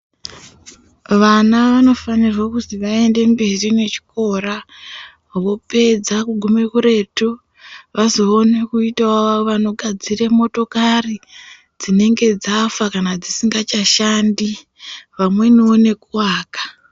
Vana vanofanirwe kuzi vaende mberi nechikora vopedza kugume kuretu vozoone kuitawo vanogadzire motokari dzinenge dzafa kana dzisingachashandi vamweniwo nekuaka.